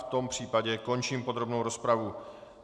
V tom případě končím podrobnou rozpravu.